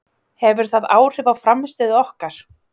Hefur það áhrif á frammistöðu okkar?